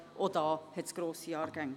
Auch da hat es grosse Jahrgänge.